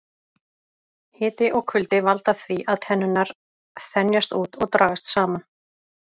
Hiti og kuldi valda því að tennurnar þenjast út og dragast saman.